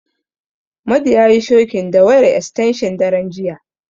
Madu yayi shokin da wayar estenshin daren jiya.